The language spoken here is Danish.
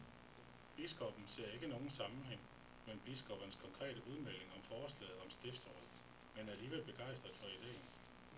Biskoppen ser ikke nogen sammenhæng mellem biskoppernes konkrete udmelding og forslaget om stiftsråd, men er alligevel begejstret for ideen.